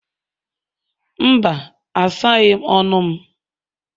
Mba, asaghị m ọnụ m.